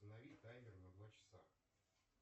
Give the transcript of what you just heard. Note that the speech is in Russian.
установи таймер на два часа